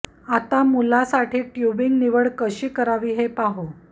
आता मुलाला साठी ट्यूबिंग निवड कशी करावी हे पाहू